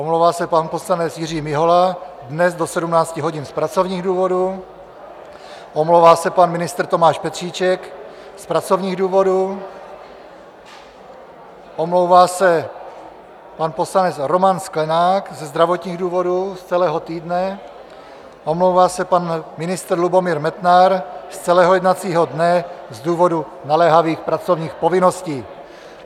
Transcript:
Omlouvá se pan poslanec Jiří Mihola dnes do 17 hodin z pracovních důvodů, omlouvá se pan ministr Tomáš Petříček z pracovních důvodů, omlouvá se pan poslanec Roman Sklenák ze zdravotních důvodů z celého týdne, omlouvá se pan ministr Lubomír Metnar z celého jednacího dne z důvodu naléhavých pracovních povinností.